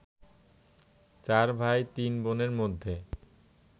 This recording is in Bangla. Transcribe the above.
চার ভাই তিন বোনের মধ্যে